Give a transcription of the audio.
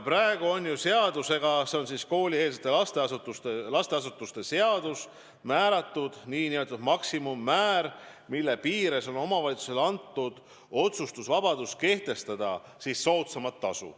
Praegu on seadusega – see on koolieelsete lasteasutuste seadus – määratud kohatasu maksimummäär, mille piires on omavalitsusele antud otsustusvabadus kehtestada soodsamat tasu.